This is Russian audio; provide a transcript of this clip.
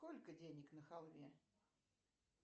сколько денег на халве